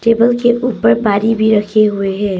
Table के ऊपर पानी भी रखी हुई है।